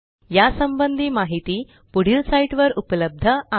या संबंधी माहिती पुढील साईटवर उपलब्ध आहे